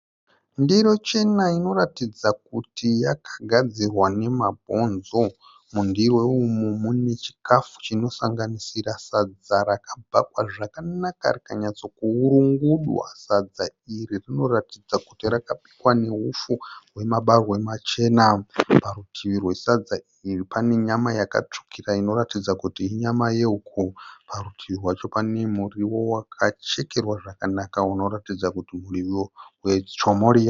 Ndiro chena inoratidza kuti yakagadzirwa nemabhonzo. Mundiro umu mune chikafu chinosanganisira sadza rakabhakwa zvakanaka rikanyatsokuurungudwa. Sadza iri rinoratidza kuti rakabikwa neupfu hwemabarwe machena. Parutivi rwesadza iri pane nyama yakatsvukira inoratidza kuti inyama yehuku. Parutivi rwacho pane muriwo wakachekerwa zvakanaka unoratidza kuti murio wechomoriya.